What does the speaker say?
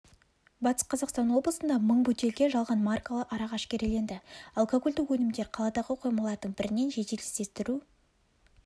батыс қазақстан облысында мың бөтелке жалған маркалы арақ әшкереленді алкогольді өнімдер қаладағы қоймалардың бірінен жедел іздестіру